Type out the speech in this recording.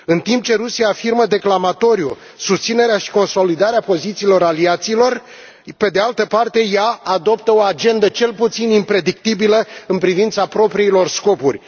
În timp ce Rusia afirmă declamatoriu susținerea și consolidarea pozițiilor aliaților, pe de altă parte, ea adoptă o agendă cel puțin impredictibilă în privința propriilor scopuri.